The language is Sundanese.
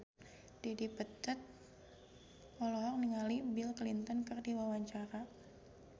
Dedi Petet olohok ningali Bill Clinton keur diwawancara